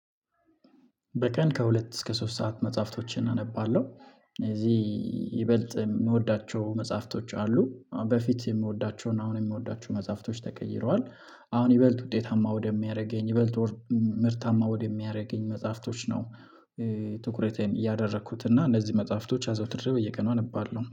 በቀን ከሁለት እስከ ሶስት ሰዓት መጽሐፍቶችን አነባለሁ። እዚህ ይበልጥ የምወዳቸው መጽሐፍቶች አሉ። በፊት የምወዳቸውን አሁን የምወዳቸውን መጽሐፍቶች ተቀይረዋል። አሁን ይበልጥ ውጤታማ ወደሚያደርገኝ የበለጠ ምርታማ ወደሚያደርገኝ መጽሐፍቶች ነው። ትኩረቴን እያደረኩት እና እነዚህ መጽሐፍቶች አዘውትር በየቀኑ አነባለሁ